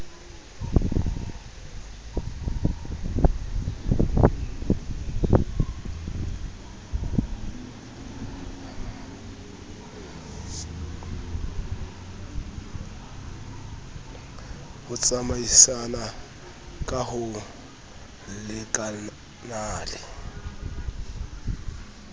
ho tsamaisana ka ho lekanale